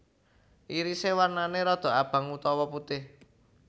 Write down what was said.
Irise warnane rodok abang utawa putih